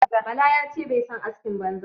Bala ya ce bai son askin banza.